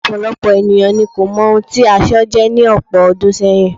Ọ̀pọ̀lọpọ̀ ènìyàn ni kò mọ ohun tí aṣọ jẹ́ ní ọ̀pọ̀ ọdún sẹ́yìn.